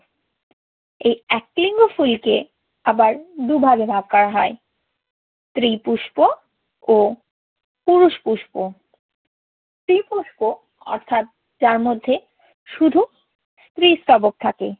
এই এক লিঙ্গ ফুলকে আবার দুই ভাগে ভাগ করা হয়। স্ত্রী পুষ্প ও পুরুষ পুষ্প। স্ত্রী পুষ্প অর্থাৎ যার মধ্যে শুধু স্ত্রীস্তবক থাকে